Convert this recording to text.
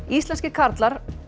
íslenskir karlar